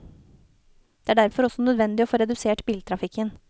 Det er derfor også nødvendig å få redusert biltrafikken.